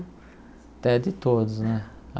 Até de todos, né?